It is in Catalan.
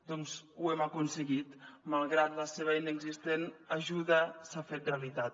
doncs ho hem aconseguit malgrat la seva inexistent ajuda s’ha fet realitat